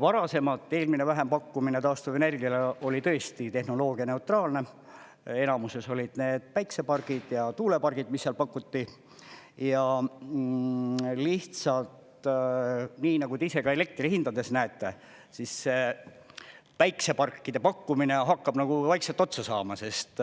Varasemalt eelmine vähempakkumine taastuvenergiale oli tõesti tehnoloogianeutraalne, enamuses olid need päiksepargid ja tuulepargid, mis seal pakuti, ja lihtsalt, nii nagu te ise ka elektrihindades näete, siis päikseparkide pakkumine hakkab nagu vaikselt otsa saama, sest